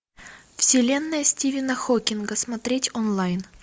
вселенная стивена хокинга смотреть онлайн